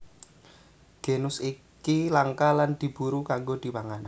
Genus iki langka lan diburu kanggo dipangan